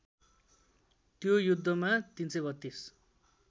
त्यो युद्धमा ३३२